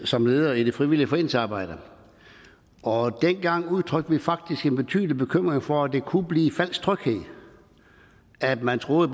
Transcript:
som leder i det frivillige foreningsarbejde og dengang udtrykte vi faktisk en betydelig bekymring for at det kunne blive en falsk tryghed at man troede